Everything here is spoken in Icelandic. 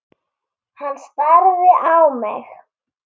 Hann starði á mig.